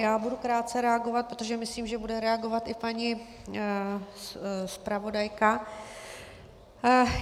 Já budu krátce reagovat, protože myslím, že bude reagovat i paní zpravodajka.